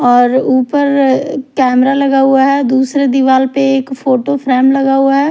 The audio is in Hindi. और ऊपर कैमरा लगा हुआ है दूसरे दीवाल पे एक फोटो फ्रेम लगा हुआ है।